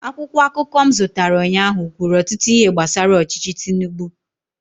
akwụkwọ akụkọ m zụtara ụnyaahụ kwuru ọtụtụ ihe gbasara ọchịchị tinubu